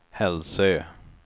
Hälsö